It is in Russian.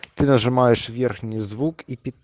ты нажимаешь верхний звук и пит